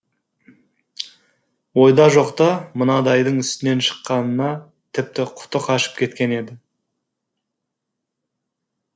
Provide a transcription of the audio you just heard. ойда жоқта мынадайдың үстінен шыққанына тіпті құты қашып кеткен еді